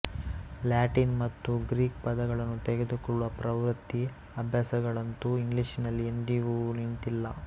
Latin ಮತ್ತು Greek ಪದಗಳನ್ನು ತೆಗೆದುಕೊಳ್ಳುವ ಪ್ರವೃತ್ತಿ ಅಭ್ಯಾಸಗಳಂತೂ ಇಂಗ್ಲಿಷಿನಲ್ಲಿ ಇಂದಿಗೂ ನಿಂತಿಲ್ಲ